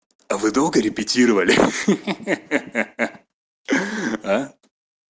а вы долго репетировали ха-ха а